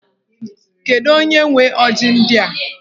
Kedu onye nwe ọjị ndị a?